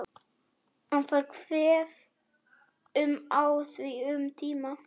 En ég er því líka góð.